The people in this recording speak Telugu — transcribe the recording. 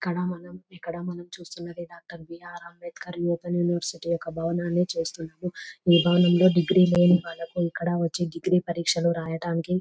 ఇక్కడ మనం చూస్తూ ఉన్నది డాక్టర్ బి.ఆర్ అంబేద్కర్ యూనివర్సిటీ భవనము చూస్తూ ఉన్నాము. ఈ భవనములో డిగ్రీ లేని వాళ్లకు ఇక్కడికి వచ్చే పరీక్షలు రాయడానికి అనుకూలంగా ఉంటుంది.